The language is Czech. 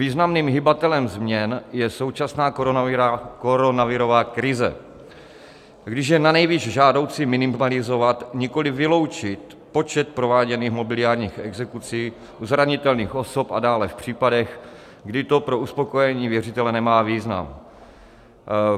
Významným hybatelem změn je současná koronavirová krize, když je nanejvýš žádoucí minimalizovat, nikoliv vyloučit, počet prováděných mobiliárních exekucí u zranitelných osob a dále v případech, kdy to pro uspokojení věřitele nemá význam.